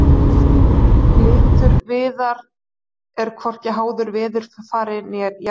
Litur viðar er hvorki háður veðurfari né jarðvegi.